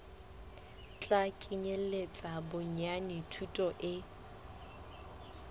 tla kenyeletsa bonyane thuto e